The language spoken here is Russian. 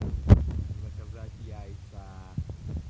заказать яйца